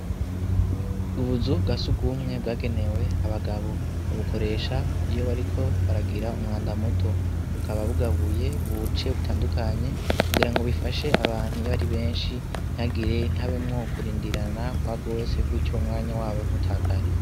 Ubuzu bwa sugumwe bwagenewe abagabo babukoresha iyo bariko baragira umwanda muto bukaba bugabuye buce butandukanye kugira ngo bifashe abantu yo bari benshi ntagire intabemwo kurindirana kwa gose kutyo umwanya wabo ntutakare.